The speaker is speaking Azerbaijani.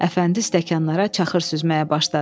Əfəndi stəkanlara çaxır süzməyə başladı.